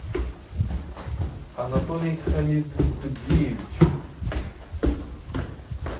анатолий хамидбиевич